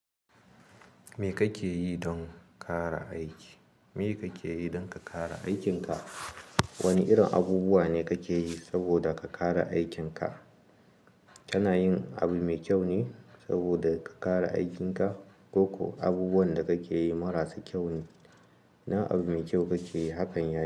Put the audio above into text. Me kake yi don kara aiki? Me kake yi don ka kara aikin ka? Wane irin abubuwa ne kake yi saboda ka kara aikin ka? Kana yin abu mai kyau ne saboda ka kara aikin ka ko ko abubuwan da kake yi marasa kyau ne? Idan abu mai kyau kake yi, hakan yayi.